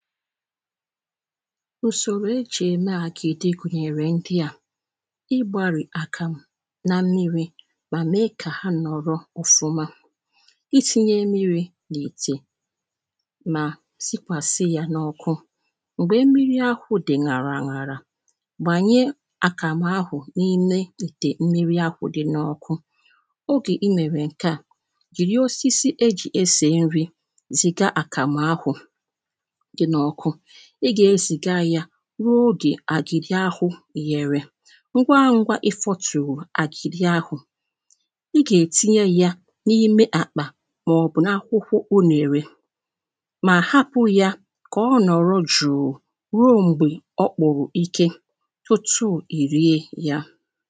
ùsòrò eji eme àgìdì gụ̀nyèrè ndị a ịgbarì àkàmụ̀ na mmiri̇ mà mee kà ha nọ̀rọ ọ̀fụmȧ isinyė mmiri̇ n’ ìtè [paues]mà sikwàsị yȧ n’ ọkụ m̀gbè mmiri ahụ̀ dị̀ ṅàrà ṅarà gbànye àkàmụ̀ ahụ̀ n’ ime ìtè mmiri ahụ̀ dị̀ n’ ọkụ ,ogè imèrè ǹke a jìri osisi ejì esè nri zìga àkàmụ̀ ahụ̀ [paues]dị̀ n'óku i ga eziga ya ruo oge àgidi ahụ ghèrè ngwa ngwa ị fọtùrù àgịrị ahụ̀ ị gà-ètinye ya n’ime àkpà màọ̀bụ̀ n’akwụkwọ unèrè [paues]mà hapụ̇ ya kà ọ ǹọrọ jụ̀ụ ruo m̀gbè ọ kpụ̀rụ̀ ike tụtụ i rie ya